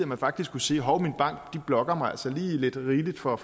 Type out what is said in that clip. man faktisk kunne sige hov min bank blokker mig altså lige lidt rigeligt for